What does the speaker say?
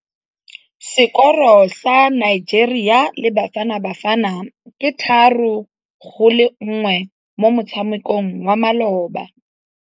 Sekôrô sa Nigeria le Bafanabafana ke 3-1 mo motshamekong wa malôba.